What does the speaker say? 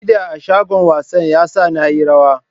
Kida a shagon wasan ya sa na yi rawa.